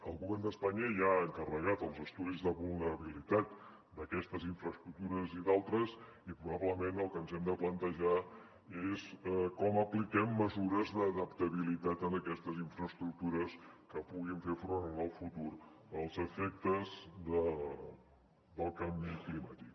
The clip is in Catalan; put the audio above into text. el govern d’espanya ja ha encarregat els estudis de vulnerabilitat d’aquestes infraestructures i d’altres i probablement el que ens hem de plantejar és com apliquem mesures d’adaptabilitat en aquestes infraestructures que puguin fer front en el futur als efectes del canvi climàtic